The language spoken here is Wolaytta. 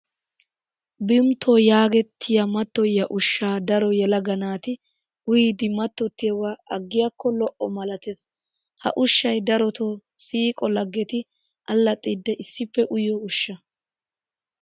Vimtpo yaagettiyaa mattoyiyaa ushshaa daro yelaga naati uyidi mattottiyoogaa aggiyaakko lo'o malatees. Ha ushshayi darotoo siiqo laggeti allaxxiiddi issippe uyiyoo ushsha.